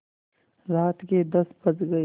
रात के दस बज गये